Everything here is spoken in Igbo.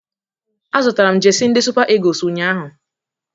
Azụtara m jesi ndị Sụpa Ịgụles ụnyahụ